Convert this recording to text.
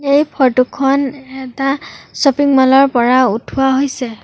এই ফটো খন এটা শ্বপিং মল ৰ পৰা উঠোৱা হৈছে।